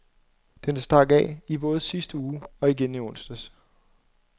Den stak af både i sidste uge og igen i onsdags.